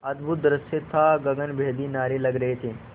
अद्भुत दृश्य था गगनभेदी नारे लग रहे थे